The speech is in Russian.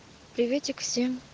приветик всем